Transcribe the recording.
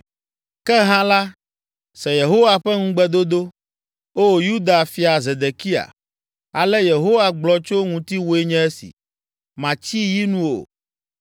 “ ‘Ke hã la, se Yehowa ƒe ŋugbedodo, O Yuda fia Zedekia. Ale Yehowa gblɔ tso ŋutiwòe nye esi: Màtsi yi nu o,